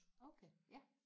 okay ja